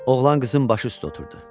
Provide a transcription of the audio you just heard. Oğlan qızın başı üstə oturdu.